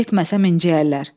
Getməsəm incəyərlər.